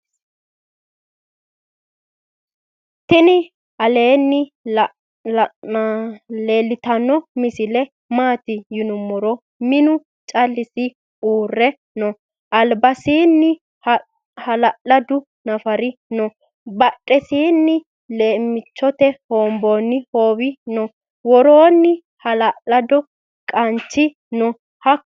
tini aleni leltano misile mati yinumoro minu calisi uure noo. albasini. hala'ladu nafari noo. badhesinni lemichoteni wonboni howe noo. woroni ha'ladu qanchi noo. hakonni dubuno noo.